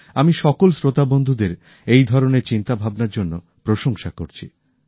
আমি সকল শ্রোতা বন্ধুদের এইধরনের চিন্তা ভাবনার জন্য প্রশংসা করছি